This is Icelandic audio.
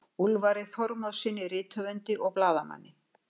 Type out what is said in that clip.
Úlfari Þormóðssyni rithöfundi og blaðamanni.